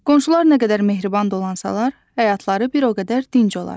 Qonşular nə qədər mehriban dolansalar, həyatları bir o qədər dinc olar.